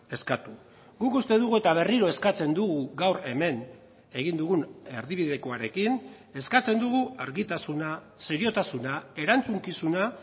eskatu guk uste dugu eta berriro eskatzen dugu gaur hemen egin dugun erdibidekoarekin eskatzen dugu argitasuna seriotasuna erantzukizuna